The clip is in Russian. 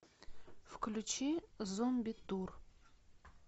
включи зомби тур